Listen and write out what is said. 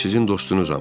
Mən sizin dostunuzam.